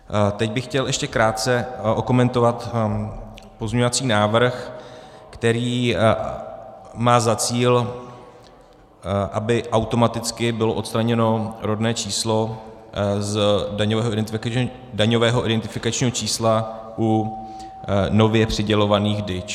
Teď bych chtěl ještě krátce okomentovat pozměňovací návrh, který má za cíl, aby automaticky bylo odstraněno rodné číslo z daňového identifikačního čísla u nově přidělovaných DIČ.